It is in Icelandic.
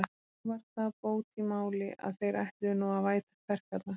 Þó var það bót í máli, að þeir ætluðu nú að væta kverkarnar.